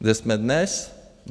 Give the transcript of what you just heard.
Kde jsme dnes?